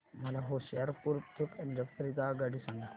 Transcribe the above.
मला होशियारपुर ते पंजाब करीता आगगाडी सांगा